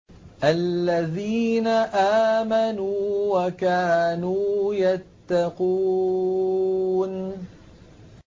الَّذِينَ آمَنُوا وَكَانُوا يَتَّقُونَ